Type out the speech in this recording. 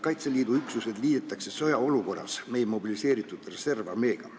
Sõjaolukorras liidetakse teatud Kaitseliidu üksused mobiliseeritud reservarmeega.